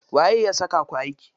Waye ya saka ku aiki?